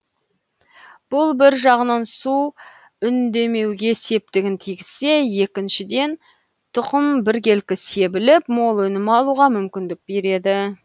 бұл бір жағынан су үнемдеуге септігін тигізсе екіншіден тұқым біркелкі себіліп мол өнім алуға мүмкіндік береді